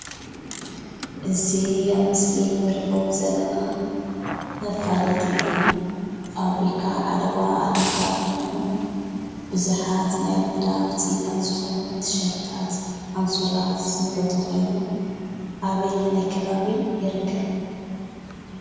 እዚ ኣብ ምስሊ እንሪኦ ዘለና መፋለጢ ፋብሪካ ዓለባ ኣልመዳ ኮይኑ ቡዙሓት ናይ ኣልመዳ ውፅኢታት ዝኾኑ ቲሸርትታት ፣ኣንሶላ ዝምረቶ ኮይኑ ኣበይናይ ከባቢ ይርከብ?